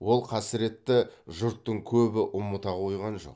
ол қасіретті жұрттың көбі ұмыта қойған жоқ